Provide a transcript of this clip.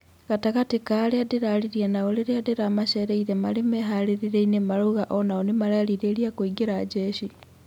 Gatagatĩ ka arĩa ndĩraaririe nao rĩrĩa ndĩramaceereire marĩ meharĩrĩria-ini marauga onao nĩmarerirĩria kũingĩra jeshi.